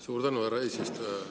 Suur tänu, härra eesistuja!